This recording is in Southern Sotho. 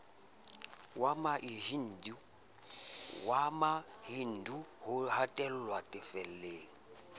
wa mahindu ho hatellwa difeleng